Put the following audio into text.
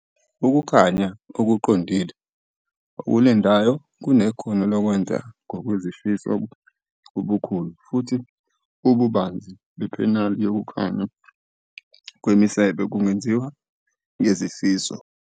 Ukukhanya Okuqondile okulengayo kunekhono lokwenza ngokwezifiso ubukhulu, futhi ububanzi bephaneli yokukhanya kwemisebe bungenziwa ngezifiso.